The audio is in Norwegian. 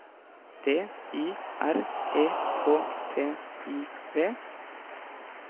D I R E K T I V